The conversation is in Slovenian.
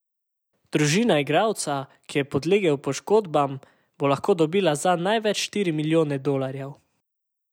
Družina igralca, ki je podlegel poškodbam, bo lahko dobila zanj največ štiri milijone dolarjev.